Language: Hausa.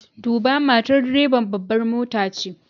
Duba! matar direban babbar mota ce.